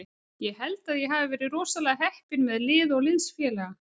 Ég held að ég hafi verið rosalega heppinn með lið og liðsfélaga.